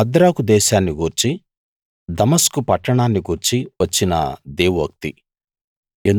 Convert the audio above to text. హద్రాకు దేశాన్ని గూర్చి దమస్కు పట్టణాన్ని గూర్చి వచ్చిన దేవోక్తి